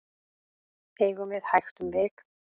eigum við hægt um vik